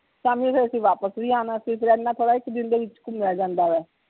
ਸ਼ਾਮੀ ਫਿਰ ਅਸੀਂ ਵਾਪਿਸ ਵੀ ਆਣਾ ਸੀ ਫਿਰ ਇੰਨਾ ਦੇ ਵਿਚ ਘੁੰਮਿਆ ਜਾਂਦਾ ਵਾ